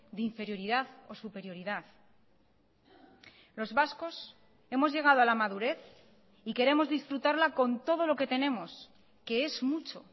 de inferioridad o superioridad los vascos hemos llegado a la madurez y queremos disfrutarla con todo lo que tenemos que es mucho